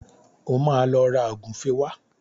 O máa lọ ra ògúfe wá